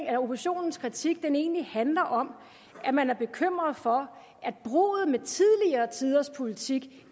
at oppositionens kritik egentlig handler om at man er bekymret for at bruddet med tidligere tiders politik